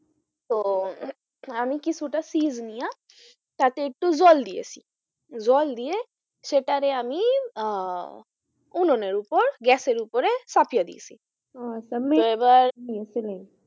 তো আমি কিছুটা চীজ নিয়া তাতে একটু জল দিয়েছি জল দিয়ে সেটারে আমি আহ উনুনের উপর গ্যাসের উপরে চাপিয়া দিয়েছি আচ্ছা তো এবার